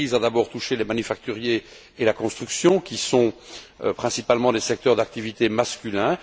La crise a d'abord touché les manufacturiers et la construction, qui sont principalement des secteurs d'activité masculins.